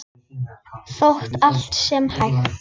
Þótt allt sé hætt?